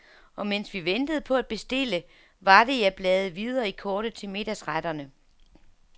Og mens vi ventede på at bestille, var det, jeg bladede videre i kortet til middagsretterne.